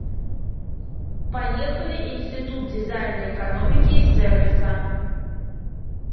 поехали институт дизайна экономики и сервиса